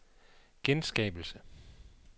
genskabelse